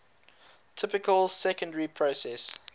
typical secondary processes